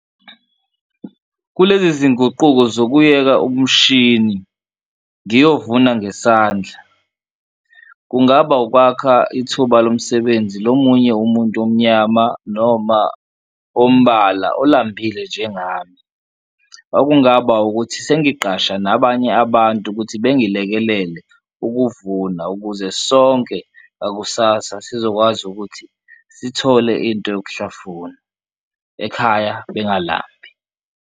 Kulezi zinguquko yokuyeka umshini ngiyovuna ngesandla kungaba ukwakha ithuba lomsebenzi lomunye umuntu omnyama noma ombala olambile njengami, okungaba ukuthi sengiqasha nabanye abantu ukuthi bengilekelele ukuvuna ukuze sonke ngakusasa sizokwazi ukuthi sithole into yokuhlafuna, ekhaya bengalambi.